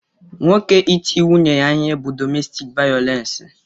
Nwoke iti nwunye ya ihe bu dọmestik vayolensi.